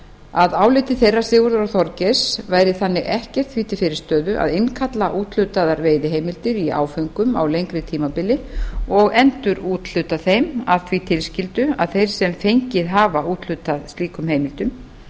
að áliti þeirra sigurðar og þorgeirs væri þannig ekkert því til fyrirstöðu að innkalla úthlutaðar veiðiheimildir í áföngum á lengra tímabili og endurúthluta þeim að því tilskildu að þeir sem fengið hafa úthlutað slíkum heimildum